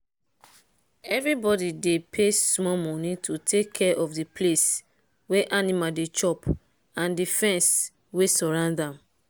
everybody dey pay small money to take care of the place wey animal dey chop and the fence wey surround am.